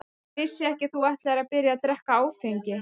Ég vissi ekki að þú ætlaðir að byrja að drekka áfengi.